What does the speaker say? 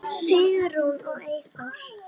Sigrún og Eyþór.